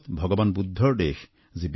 ভাৰত ভগবান বুদ্ধৰ দেশ